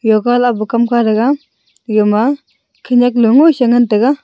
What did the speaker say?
yoga lah pu kam ka eya ma khenak long mo si ley ngan taiga.